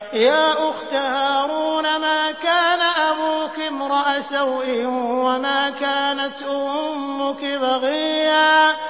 يَا أُخْتَ هَارُونَ مَا كَانَ أَبُوكِ امْرَأَ سَوْءٍ وَمَا كَانَتْ أُمُّكِ بَغِيًّا